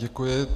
Děkuji.